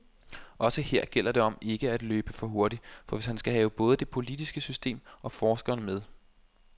Også her gælder det om ikke at løbe for hurtigt, hvis han skal have både det politiske system og forskerne med.